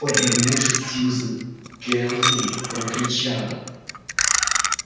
обернувшись сьюзен кэлвин прокричала